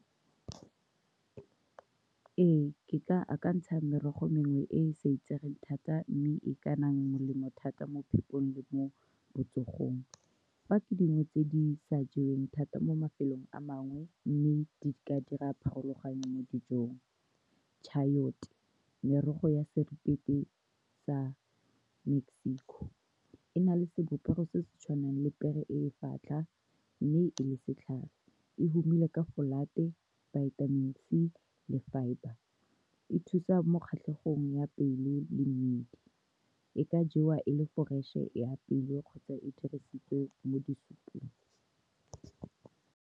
Ee, ke ka akantsha merogo mengwe e e sa itsegeng thata, mme e ka nna molemo thata mo phepong le mo botsogong. Fa tse dingwe tse di sa jeweng thata mo mafelong a mangwe, mme di ka dira pharologano mo dijong chayote. Merogo ya sa Mexico e na le sebopego se se tshwanang le pere e e , mme e le setlhare. E humile ka go folate vitamin C le fibre, e thusa mo kgatlhegong ya pelo le mmidi, e ka jewa e le fresh-e, e apeilwe kgotsa e dirisitswe mo di-soup-ong.